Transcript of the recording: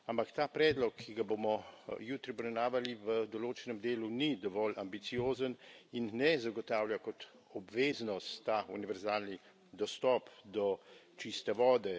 Ampak ta predlog, ki ga bomo jutri obravnavali, v določenem delu ni dovolj ambiciozen in ne zagotavlja kot obveznost ta univerzalni dostop do čiste vode.